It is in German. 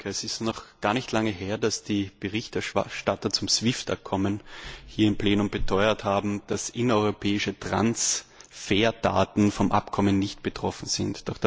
Es ist noch gar nicht lange her, dass die Berichterstatter zum SWIFT Abkommen hier im Plenum beteuert haben, dass innereuropäische Transferdaten vom Abkommen nicht betroffen sind.